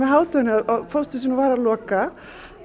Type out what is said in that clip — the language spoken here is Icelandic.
hádeginu að pósthúsið væri að loka